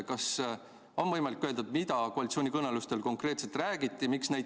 Kas on võimalik öelda, mida koalitsioonikõnelustel konkreetselt räägiti?